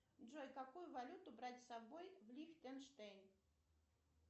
джой какую валюту брать с собой в лихтенштейн